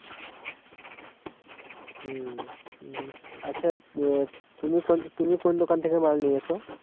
হম আচ্ছা, ত তুমি কোন তুমি কোন দোকান টা থেকে মাল নিয়েছো?